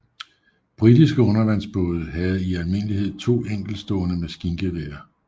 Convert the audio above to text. Britiske undervandsbåde havde i almindelighed to enkeltstående maskingeværer